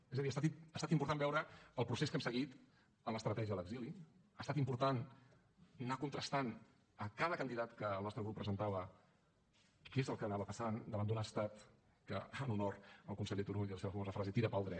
és a dir ha estat important veure el procés que hem seguit en l’estratègia a l’exili ha estat important anar contrastant a cada candidat que el nostre grup presentava què és el que anava passant davant d’un estat que en honor al conseller turull i a la seva famosa frase tira pel dret